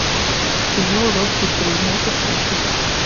кино рокки три можешь включить